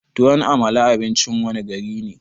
Tuwon amala abincin wanne gari ne?